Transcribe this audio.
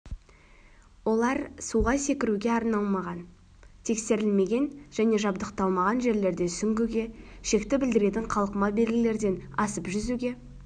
олар суға секіруге арналмаған тексерілмеген және жабдықталмаған жерлерде сүңгуге шекті білдіретін қалқыма белгілерден асып жүзуге